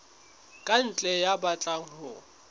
ka ntle ya batlang ho